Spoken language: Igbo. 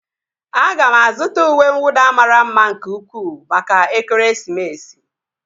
Aga m azụta uwe nwụda mara mma nke ukwuu maka ekeresimesi